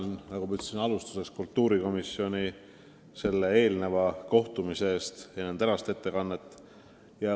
Tänan, nagu ma juba ütlesin, kultuurikomisjoni selle eelneva kohtumise eest ning tänaste ettekannete eest!